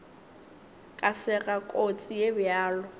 ka sega kotsi ye bjalo